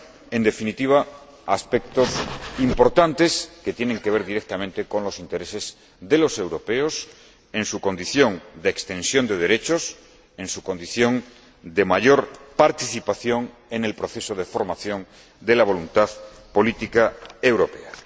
En definitiva, aspectos importantes que tienen que ver directamente con los intereses de los europeos en su condición de extensión de derechos y en su condición de mayor participación en el proceso de formación de la voluntad política europea.